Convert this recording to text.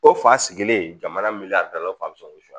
O fa sigilen jamana min yan dala fan ko